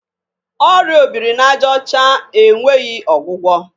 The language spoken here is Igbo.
Ọrịa o biri n'ajaọcha e nweghi ọgwụgwọ.